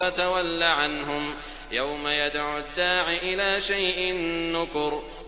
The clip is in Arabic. فَتَوَلَّ عَنْهُمْ ۘ يَوْمَ يَدْعُ الدَّاعِ إِلَىٰ شَيْءٍ نُّكُرٍ